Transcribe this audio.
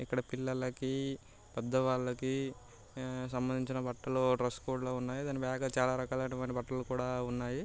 ఇక్కడ పిల్లలకి పెద్దవాళ్లకి సంబంధించిన బట్టలు డ్రెస్ కోడ్ లు ఉన్నాయి.బ్యాగు ల్లో చాలా రకాలైనటువంటి బట్టలు ఉన్నాయి.